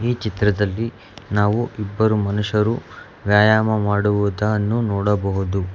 ಈ ಚಿತ್ರದಲ್ಲಿ ನಾವು ಇಬ್ಬರು ಮನುಷ್ಯರು ವ್ಯಾಯಾಮ ಮಾಡುವದನ್ನು ನೋಡಬಹುದು.